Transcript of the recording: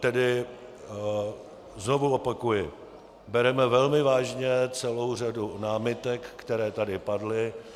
Tedy znovu opakuji, bereme velmi vážně celou řadu námitek, které tady padly.